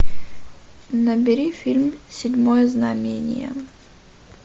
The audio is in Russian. набери фильм седьмое знамение